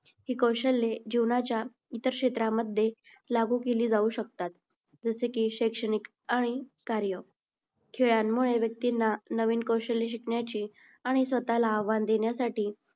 ही कौशल्ये जीवनाच्या इतर क्षेत्रामध्ये लागू केली जाऊ शकतात. जसे की शैक्षणिक आणि कार्य. खेळांमुळे व्यक्तींना नवीन कौशल्य शिकण्याची आणि स्वतःला आव्हान देण्यासाठी